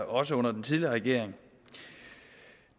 også under den tidligere regering